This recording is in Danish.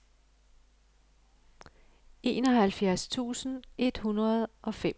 enoghalvfjerds tusind et hundrede og femogfyrre